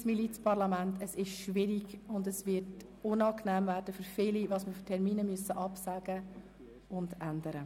Wir sind ein Milizparlament, was schwierig ist, und es wird für viele Mitglieder des Grossen Rats unangenehm sein, dass wir Termine absagen und ändern müssen.